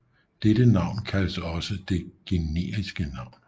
Dette navn kaldes også det generiske navn